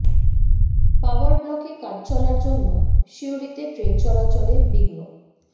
পাওয়ার ব্লকে কাজ চলার জন্য সিউড়ীতে ট্রেন চলাচলে বিঘ্ন